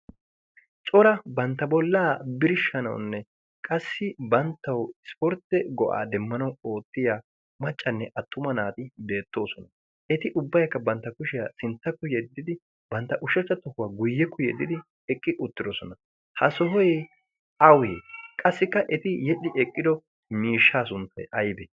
cora bantta bolaa birshshanawunne banttawu isportte go'aa demmanwu oottiya maccane attuma naati beetoosona. ha sohoy awee? qaasssi yedhio eqido miishshaa sunttay aybee?